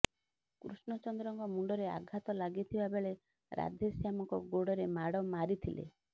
କୃଷ୍ଣଚନ୍ଦ୍ରଙ୍କ ମୁଣ୍ତରେ ଆଘାତ ଲାଗିଥିବା ବେଳେ ରାଧେଶ୍ୟାମଙ୍କ ଗୋଡ଼ରେ ମାଡ଼ ମାରିଥିଲେ